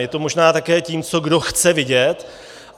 Je to možná také tím, co kdo chce vidět.